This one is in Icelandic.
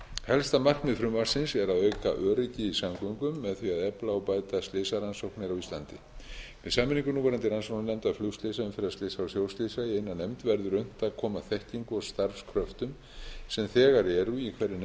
helsta markmið frumvarpsins er að auka öryggi í samgöngum með því að efla og bæta slysarannsóknir á íslandi með sameiningu núverandi rannsóknarnefnda flugslysa umferðarslysa og sjóslysa í eina nefnd verður unnt að koma þekkingu og starfskröftum sem þegar eru í hverri nefnd fyrir sig